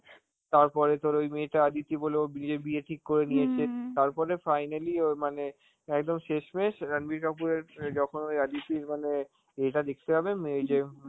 তারপরে তোর ওই মেয়েটা অদিতি বলে, ওর বিয়ে~ বিয়ে ঠিক করে নিয়েছে, তারপরে finally ওর মানে একদম শেষমেষ রাণবীর আপুরের অ্যাঁ যখন ওই আদিতের মানে ইয়েটা দেখতে যাবে, মে~ ওই যে